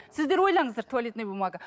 сіздер ойлаңыздар туалетная бумага